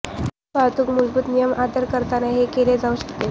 वाहतूक मूलभूत नियम आदर करताना हे केले जाऊ शकते